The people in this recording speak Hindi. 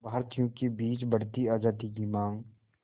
भारतीयों के बीच बढ़ती आज़ादी की मांग